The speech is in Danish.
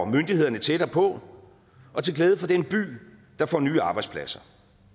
myndighederne tættere på og til glæde for den by der får nye arbejdspladser